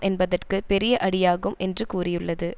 என்பதற்கு பெரிய அடியாகும் என்று கூறியுள்ளது